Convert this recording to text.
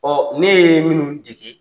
Ɔn ne ye minnu dege